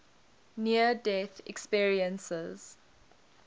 near death experiences